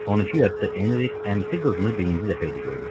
12 yaşlı Enrik əmisi qızını birinci dəfə idi görürdü.